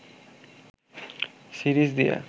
series দিয়ে